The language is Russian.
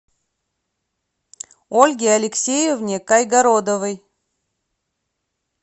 ольге алексеевне кайгородовой